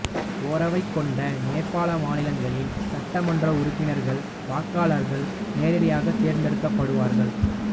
ஓரவை கொண்ட நேபாள மாநிலங்களின் சட்டமன்ற உறுப்பினர்கள் வாக்களாளர்கள் நேரடியாகத் தேர்ந்தெடுக்கப்படுவார்கள்